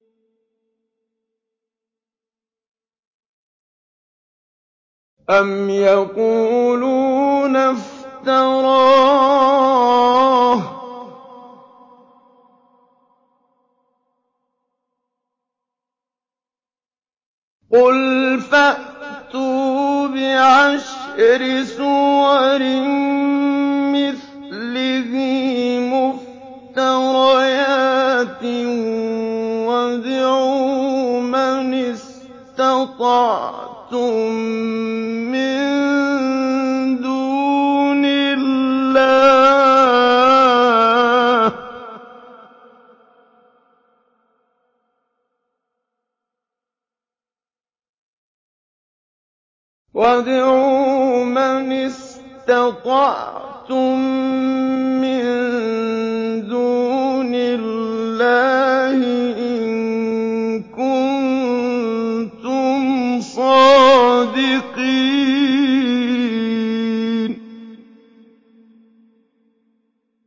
أَمْ يَقُولُونَ افْتَرَاهُ ۖ قُلْ فَأْتُوا بِعَشْرِ سُوَرٍ مِّثْلِهِ مُفْتَرَيَاتٍ وَادْعُوا مَنِ اسْتَطَعْتُم مِّن دُونِ اللَّهِ إِن كُنتُمْ صَادِقِينَ